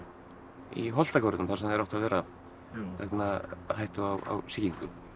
í Holtagörðum þar sem þeir áttu að vera vegna hættu á sýkingu